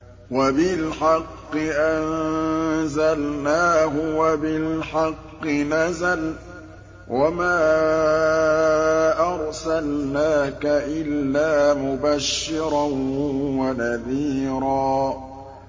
وَبِالْحَقِّ أَنزَلْنَاهُ وَبِالْحَقِّ نَزَلَ ۗ وَمَا أَرْسَلْنَاكَ إِلَّا مُبَشِّرًا وَنَذِيرًا